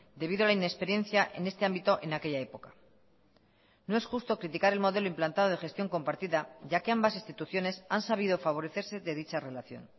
debido a la inexperiencia en este ámbito en aquella época no es justo criticar el modelo implantado de gestión compartida ya que ambas instituciones han sabido favorecerse de dicha relación